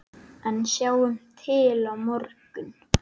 En sjáum til á morgun!